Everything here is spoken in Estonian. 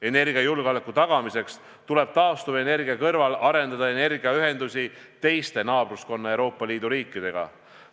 Energiajulgeoleku tagamiseks tuleb taastuvenergia kõrval arendada energiaühendusi naabruskonna Euroopa Liidu riikidega.